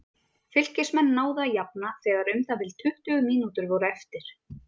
Fylkismenn náðu að jafna þegar um það bil tuttugu mínútur voru eftir.